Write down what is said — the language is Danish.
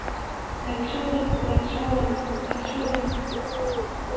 naturen naturen naturen